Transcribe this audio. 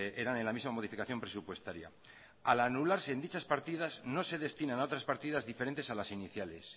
eran en la misma modificación presupuestaria al anularse en dichas partidas no se destinan a otras partidas diferentes a las iniciales